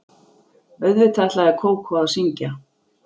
Auðvitað ætlaði Kókó að syngja.